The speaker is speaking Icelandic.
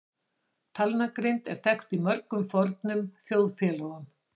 Talnagrind var þekkt í mörgum fornum þjóðfélögum.